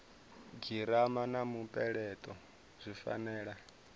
girama na mupeleto zwi fanela